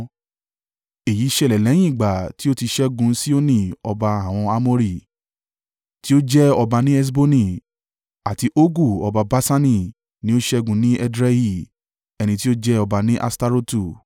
Èyí ṣẹlẹ̀ lẹ́yìn ìgbà tí ó ti ṣẹ́gun Sihoni ọba àwọn Amori, tí ó jẹ ọba ní Heṣboni, àti Ogu ọba Baṣani ni ó ṣẹ́gun ní Edrei, ẹni tí ó jẹ ọba ní Aṣtarotu.